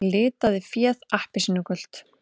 Litaði féð appelsínugult